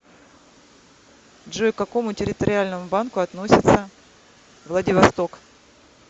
джой к какому территориальному банку относится владивосток